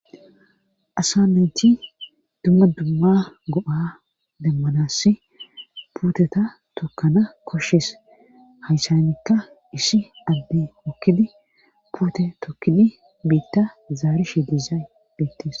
Asanayti dumma dumma go7a demmanasi puuteta tokana koshshis hayssanikka isi adde hokkidi puute tokkidi biitta zaari shi dizaay beittis